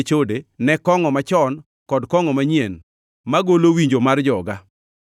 ne chode, ne kongʼo machon kod kongʼo manyien, magolo winjo mar joga.